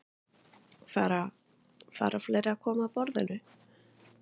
Fara, fara fleiri að koma að borðinu?